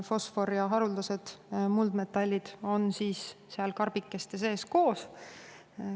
Fosfor ja haruldased muldmetallid on seal karbikeste sees koos.